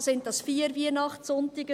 Sind es vier Weihnachtssonntage?